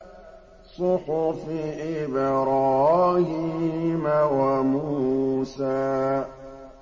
صُحُفِ إِبْرَاهِيمَ وَمُوسَىٰ